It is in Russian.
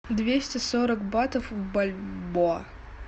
двести сорок батов в бальбоа